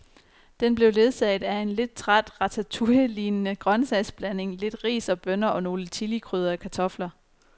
Den blev ledsaget af en lidt træt ratatouillelignende grøntsagsblanding, lidt ris og bønner og nogle chilikrydrede kartofler.